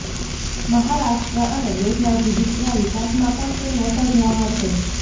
મહારાષ્ટ્ર અને દેશના જીડીપીના વિકાસમાં પણ તેની અસર જોવા મળશે